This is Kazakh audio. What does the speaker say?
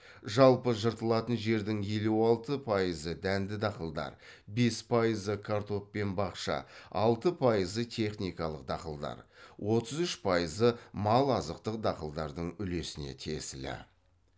жалпы жыртылатын жердің елу алты пайызы дәнді дақылдар бес пайызы картоп пен бақша алты пайызы техникалық дақылдар отыз үш пайызы мал азықтық дақылдардың үлесіне тиесілі